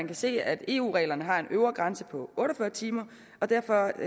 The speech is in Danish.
kan se at eu reglerne har en øvre grænse på otte og fyrre timer og derfor